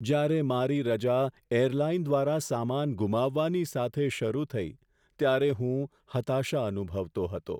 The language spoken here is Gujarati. જ્યારે મારી રજા એરલાઈન દ્વારા સામાન ગુમાવવાની સાથે શરૂ થઈ, ત્યારે હું હતાશા અનુભવતો હતો.